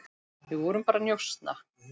Við vorum bara að njósna,